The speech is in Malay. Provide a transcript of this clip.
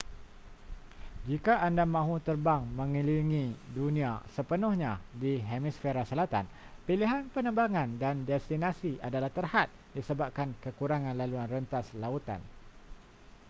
jika anda mahu terbang mengelilingi dunia sepenuhnya di hemisfera selatan pilihan penerbangan dan destinasi adalah terhad disebabkan kekurangan laluan rentas lautan